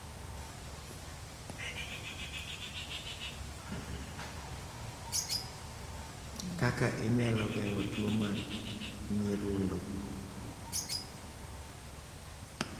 Kaka inyalo geng'o tuo mar nyirundo